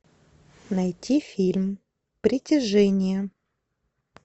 найти фильм притяжение